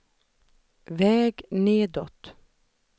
väg nedåt